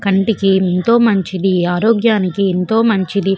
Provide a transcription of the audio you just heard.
కంటకి ఏంటో మంచిది ఆరోగ్యానికి ఎంతో మంచిది.